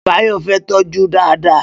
Bayo fẹ̀ tọjú dàdàá